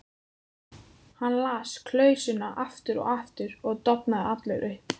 Hann las klausuna aftur og aftur og dofnaði allur upp.